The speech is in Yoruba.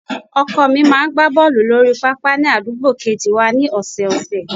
Ọkọ mi máa ń gbá bọ́ọ̀lù lórí pápá ni àdúgbò kejì wá ní ọ̀sọ̀ọ̀sẹ̀